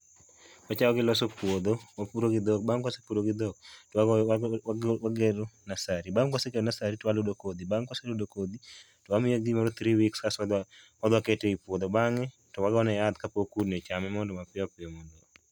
Achako gi loso puodho wapuro gi dhok, bang' ka wase puro gi dhok to wagero nursery bang' ka wasegero nursery to waludo kodhi bang' ka wase ludo kodhi to wamiye gimoro three weeks kaeto wadhi wakete e puodho bang'e wagoyo ne yath kapok kudni ochame mondo mapiyo piyo